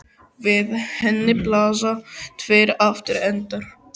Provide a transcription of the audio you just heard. Við henni blasa tveir aftur endar.